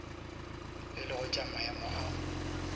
e lego tša maemo a